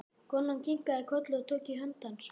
Konan kinkaði kolli og tók í hönd hans.